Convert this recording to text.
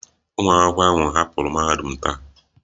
Ụmụ akwụkwọ ahụ hapụrụ mahadum taa